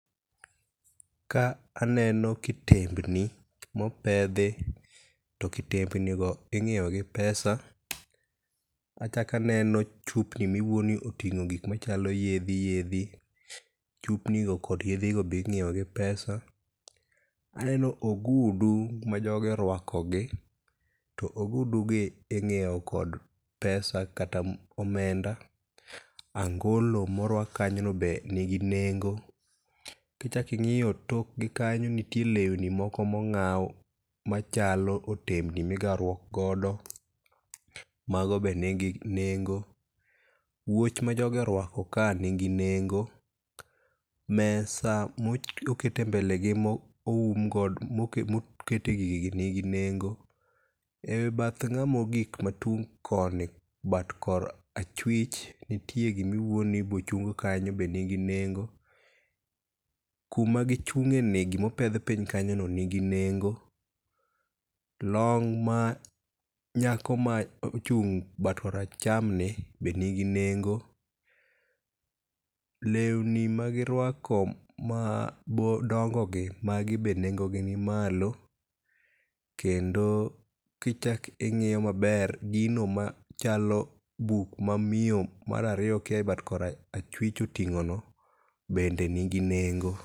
Ka aneno kitembni mopedhi to kitembnigo ing'ieogi pesa. Achako aneno chupni miwuo ni oting'o gik machalo yedhi yedhi chupnigo kod yedhi go be inyieogi pesa. Aneno ogudu majogi orwakogi to ogudugi ing'ieo kod pesa kata omenda. Angolo morwak kanyono be ni nigi nengo, kichaki ing'iyop tokgi kanyo nitie lewni moko mong'aw machalo otembni migawruokgodo mago be nigi nengo, wuoch ma jogi orwako ka nigi nengo. Mesa mokete mbelegi mokete gigi gi nigi nengo. E bath ng'amogik matung' koni bat kor achwich nitie gimiwuo ni bochung kanyo be nigi nengo. Kuma gichung'eni gimopedh piny kanyoni nigi nengo. Long ma nyako ma ochung' bat kor achamni be nigi nengo, lewni magirwako madongogi magi be nengogi ni malo, kendo kichak ing'iyo maber gino machalo buk ma miyo mar ariyo kia e bat kor achwich oting'ono bende nigi nengo.